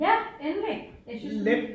Ja endelig jeg synes du